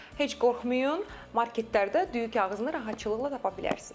Heç qorxmayın, marketlərdə düyü kağızını rahatçılıqla tapa bilərsiniz.